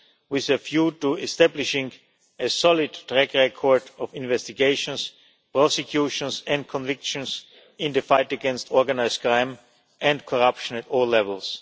with a view to establishing a solid track record of investigations, prosecutions and convictions in the fight against organised crime and corruption at all levels.